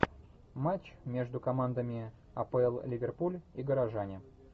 матч между командами апл ливерпуль и горожане